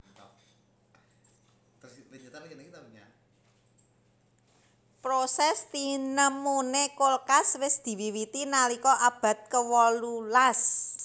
Proses tinemuné kulkas wis diwiwiti nalika abad kewolu las